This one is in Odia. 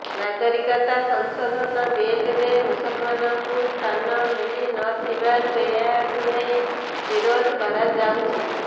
ନାଗରିକତା ସଂଶୋଧନ ବିଲରେ ମୁସଲମାନଙ୍କୁ ସ୍ଥାନ ମିଳିନଥିବାରୁ ଏହାକୁ ନେଇ ବିରୋଧ କରାଯାଉଛି